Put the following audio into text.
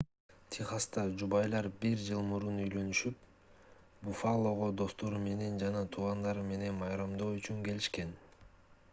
техаста жубайлар бир жыл мурун үйлөнүшүп буффалого достору жана туугандары менен майрамдоо үчүн келишкен